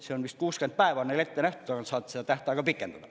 See on vist 60 päeva neil ette nähtud, aga nad saavad seda tähtaega pikendada.